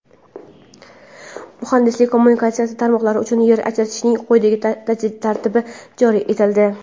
Muhandislik-kommunikatsiya tarmoqlari uchun yer ajratishning quyidagi tartibi joriy etildi:.